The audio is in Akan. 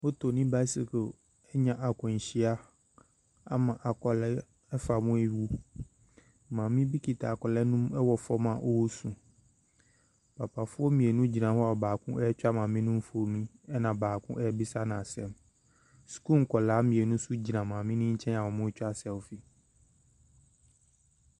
Moto ne bicycle anya akwanhyia ama akwadaa afa mu awu. Maame bi kita akwadaa no mu ɛwɔ fem a ɔresu. Papafoɔ mmienu agyina hɔ a baako ɛretwa maame no mfonin na baako ɛrebisa no asɛm. Sukuu nkwadaa mmeinu nso gyina maame no nkyɛn a wɔretwa selfie.